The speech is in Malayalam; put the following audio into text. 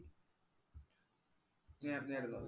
നീയറിഞ്ഞാരുന്നോ അത്.